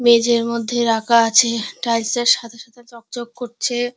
মেঝের মধ্যে রাখা আছে টাইলস -এর সাথে সাথে চকচক করছে।